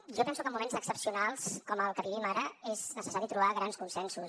jo penso que en moments excepcionals com el que vivim ara és necessari trobar grans consensos